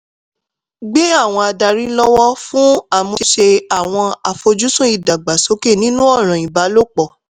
gbé àwọn adarí lọ́wọ́ fún ìmúṣẹ àwọn àfojúsùn ìdàgbàsókè nínú ọ̀ràn ìbálòpọ̀.